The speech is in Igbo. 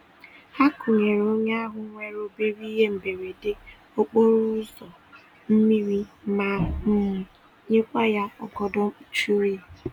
Ha kunyere onye ahụ nwere obere ihe mberede okporo ụzọ, mmiri ma um nyekwa ya ọgọdọ mkpuchi oyi.